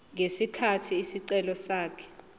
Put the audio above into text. ngesikhathi isicelo sakhe